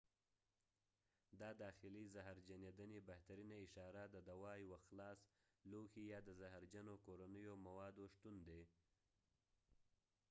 دا داخلي زهرجنېدنې بهترینه اشاره د دوا یوه خلاص لوښی یا د زهرجنو کورنیو موادو شتون دی